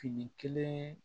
Fini kelen